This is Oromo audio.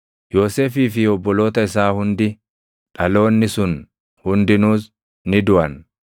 Yoosefii fi obboloota isaa hundi, dhaloonni sun hundinuus, ni duʼan.